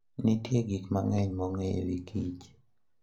Nitie gik mang'eny ma ong'eyo e wi kich.